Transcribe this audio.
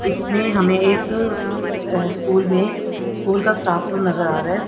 इसमें हमें एक अ स्कूल में स्कूल का स्टाफ रूम नजर आ रहा है।